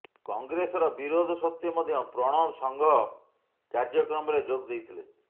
କଂଗ୍ରେସର ବିରୋଧ ସତ୍ତ୍ବେ ମଧ୍ୟ ପ୍ରଣବ ସଂଘ କାର୍ଯ୍ୟକ୍ରମରେ ଯୋଗଦେଇଥିଲେ